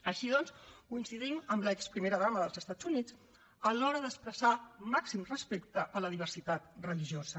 així doncs coincidim amb l’exprimera dama dels estats units a l’hora d’expressar màxim respecte a la diversitat religiosa